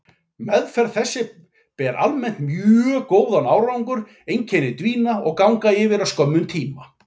Meðferð þessi ber almennt mjög góðan árangur, einkenni dvína og ganga yfir á skömmum tíma.